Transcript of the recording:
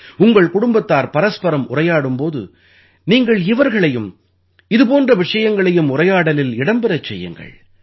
உங்கள் குடும்பத்தார் பரஸ்பரம் உரையாடும் போது நீங்கள் இவர்களையும் இது போன்ற விஷயங்களையும் உரையாடலில் இடம் பெறச் செய்யுங்கள்